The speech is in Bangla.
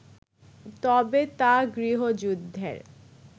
তবে তা গৃহযুদ্ধের